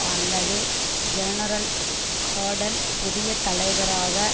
அல்லது general Hayden புதிய தலைவராக